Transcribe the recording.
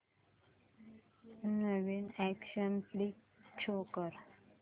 नवीन action flick show कर